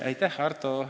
Aitäh!